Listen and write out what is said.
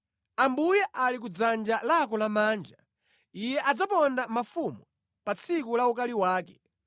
Ambuye ali kudzanja lako lamanja; Iye adzaponda mafumu pa tsiku la ukali wake.